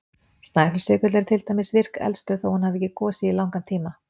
Snæfellsjökull er til dæmis virk eldstöð þó hún hafi ekki gosið í langan tíma.